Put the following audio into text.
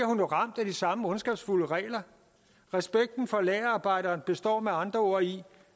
ramt af de samme ondskabsfulde regler respekten for lagerarbejderen består med andre ord i